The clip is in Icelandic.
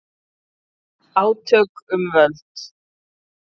Átök um völd